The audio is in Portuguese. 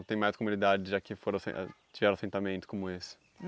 Ou tem mais comunidades já que foram assen tiveram assentamento como esse?